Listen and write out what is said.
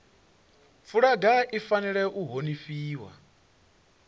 fulaga i fanela u honifhiwa